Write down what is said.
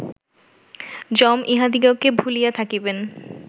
যম ইঁহাদিগকে ভুলিয়া থাকিবেন